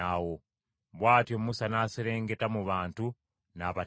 Bw’atyo Musa n’aserengeta mu bantu n’abategeeza.